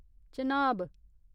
Chenab